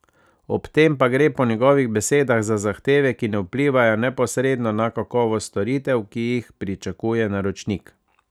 Ob tem pa gre po njegovih besedah za zahteve, ki ne vplivajo neposredno na kakovost storitev, ki jih pričakuje naročnik.